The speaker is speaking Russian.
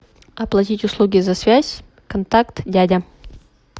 оплатить услуги за связь контакт дядя